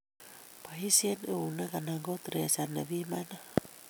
Boisie eunek anan ko thresher nebimanat